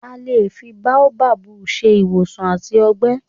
A lè fi ewé Baobab ṣe ìwòsàn àtọ̀gbẹ.